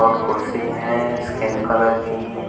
और कुर्सी हैं स्किन कलर की।